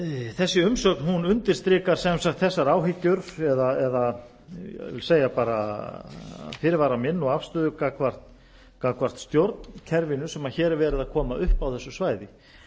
þessi umsögn undirstrikar sem sagt þessa áhyggjur eða ég vil segja fyrirvara minn og afstöðu gagnvart stjórnkerfinu sem hér er verið að koma